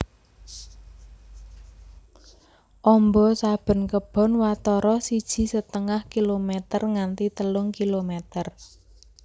Amba saben kebon watara siji setengah kilomèter nganti telung kilomèter